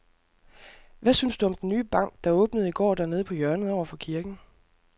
Hvad synes du om den nye bank, der åbnede i går dernede på hjørnet over for kirken?